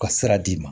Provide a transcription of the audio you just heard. Ka sira d'i ma